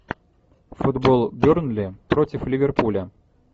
футбол бернли против ливерпуля